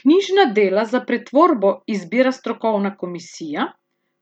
Knjižna dela za pretvorbo izbira strokovna komisija